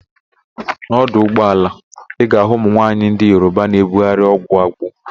N'ọdụ ụgbaala, ị ga-ahụ ụmụ nwaanyị ndị Yoroba na-ebugharị ọgwụ agbo.